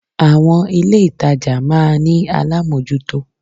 Àwon ilé ìtajà máa ní alámójútó